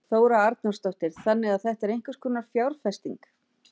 Þóra Arnórsdóttir: Þannig að þetta er einhvers konar fjárfesting?